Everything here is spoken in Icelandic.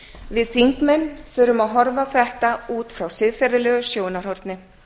við þingmenn þurfum að horfa á þetta út frá siðferðilegu sjónarhorni